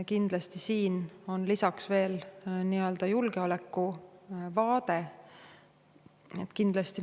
Kindlasti siin on lisaks veel julgeoleku vaade.